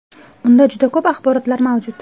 Unda juda ko‘p axborotlar mavjud.